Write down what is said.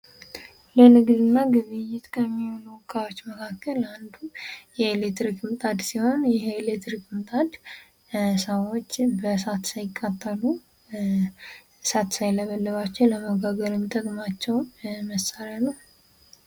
ለንግድና ግብይት ከሚሆኑ እቃዎችን መካከል አንዱ የኤሌክትሪክ ምጣድ ሲሆን የኤሌክትሪክ ምጣድ ሰዎችን በእሳት ሳይቃጠሉ እሳት ሳይበልባቸው ለመጋገር የሚጠቅማቸው መሳሪያ ነው።